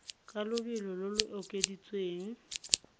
ka lobelo lo lo okeditsweng